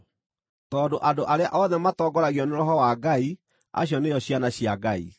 tondũ andũ arĩa othe matongoragio nĩ Roho wa Ngai acio nĩo ciana cia Ngai.